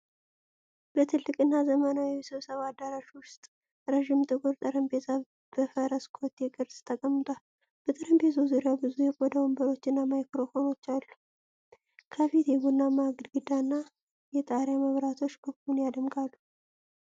በትልቅ እና ዘመናዊ የስብሰባ አዳራሽ ውስጥ ረጅም ጥቁር ጠረጴዛ በፈረስ ኮቴ ቅርጽ ተቀምጧል። በጠረጴዛው ዙሪያ ብዙ የቆዳ ወንበሮችና ማይክሮፎኖች አሉ። ከፊት የቡናማ ግድግዳና የጣሪያ መብራቶች ክፍሉን ያደምቃሉ።